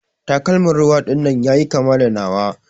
Takalman ruwa dinnan yayi kama da nawa.